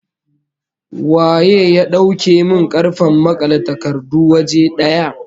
Waye ya dauke min karfen makale takardu waje daya?